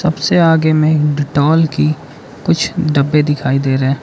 जैसे आगे में डेटोल की कुछ डब्बे दिखाई दे रहा है।